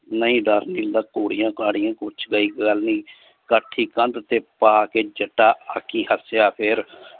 ਨਹੀਂ ਡਰ ਨੀ ਗਾ। ਘੋੜਿਆਂ ਘਾੜਿਆਂ ਕੁਛ ਗੱਲ ਨੀ ਕਾਠੀ ਕੰਦ ਤੇ ਪਾਕੇ ਜੱਟਾ ਅੱਖੀਂ ਹੱਸਿਆ ਫਿਰ